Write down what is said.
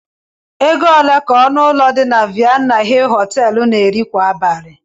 Ego ole ka ọnụ ụlọ dị na Vienna hill Họteelụ na-eri kwa abalị?